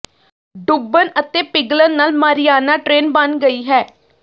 ਡੁੱਬਣ ਅਤੇ ਪਿਘਲਣ ਨਾਲ ਮਾਰੀਆਨਾ ਟ੍ਰੇਨ ਬਣ ਗਈ ਹੈ